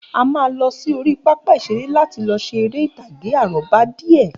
A máa lọ sí orí pápá ìṣeré láti lọ ṣe eré ìtàgé àrọ́bá díè.